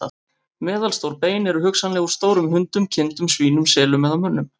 Meðalstór bein eru hugsanlega úr stórum hundum, kindum, svínum, selum eða mönnum.